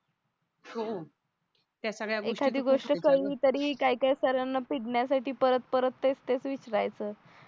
हो या सगळ्या गोष्टी एखादी गोष्ट काय काय सरांना पिडण्यासाठी परत परत तेच तेच विचरायचं